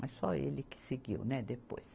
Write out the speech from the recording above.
Mas só ele que seguiu, né, depois.